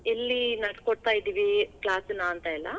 ಎಲ್ಲಿ ನಡ್ಸಕೊಡ್ತಾ ಇದೀವಿ class ನಾ ಅಂತೆಲ್ಲಾ.